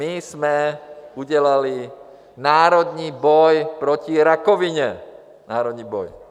My jsme udělali národní boj proti rakovině, národní boj.